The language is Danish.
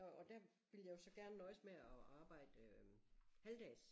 Og og der ville jeg jo så gerne nøjes med at arbejde øh halvdags